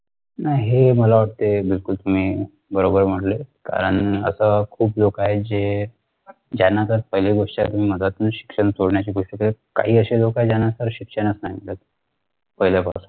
नाही हे मला वाटतंय बिलकुल तुम्ही बरोबर म्हटले कारण आता खूप लोक आहे जे ज्यांना तर पहिले गोष्ट मधातून शिक्षण सोडण्याची दुसरीकडे काही अशे लोक त्यांना तर शिक्षण नाही मिळत पहिल्यापासून